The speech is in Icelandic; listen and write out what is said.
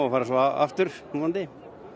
fara svo aftur vonandi